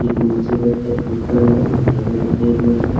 एक नीचे बैठे हैं एक ऊपर है धागे बंधे हुए हैं ।